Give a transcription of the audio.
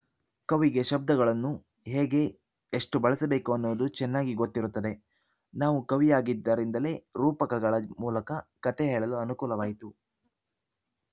ಕವಿಗೆ ಶಬ್ದಗಳನ್ನು ಹೇಗೆ ಎಷ್ಟುಬಳಸಬೇಕು ಅನ್ನುವುದು ಚೆನ್ನಾಗಿ ಗೊತ್ತಿರುತ್ತದೆ ನಾವು ಕವಿಯಾಗಿದ್ದರಿಂದಲೇ ರೂಪಕಗಳ ಮೂಲಕ ಕತೆ ಹೇಳಲು ಅನುಕೂಲವಾಯಿತು